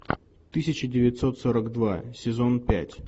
тысяча девятьсот сорок два сезон пять